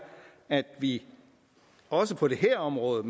at vi også på det her område og